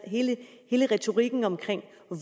hele retorikken om